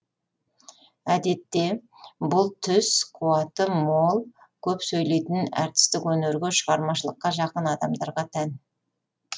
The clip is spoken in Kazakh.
әдетте бұл түс қуаты мол көп сөйлейтін әртістік өнерге шығармашылыққа жақын адамдарға тән